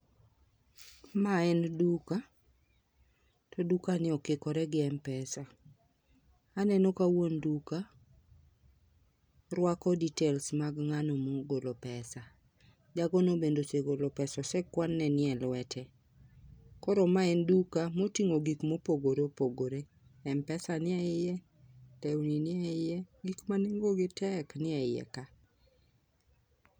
Ma en duka to duka ni okikore gi m-pesa. Aneno ka wuon duka rwako details mag ng'ani mogolo pesa .Jago ni bende osegolo pesa osekwan ne nie lwete. Koro ma en duka moting'o gik mopogore opogore m-pesa nie iye, nie iye. Gik manengo gi tek nie iye ka.